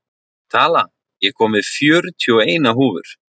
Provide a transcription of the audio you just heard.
Tala, ég kom með fjörutíu og eina húfur!